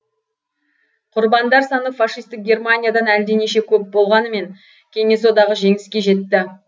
құрбандар саны фашистік германиядан әлденеше көп болғанмен кеңес одағы жеңіске жетті